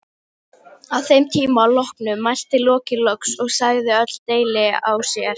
Að þeim tíma loknum mælti Loki loks og sagði öll deili á sér.